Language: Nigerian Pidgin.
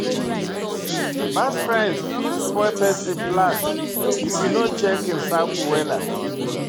Bad friends fit spoil pesin plan if e no check im circle wella.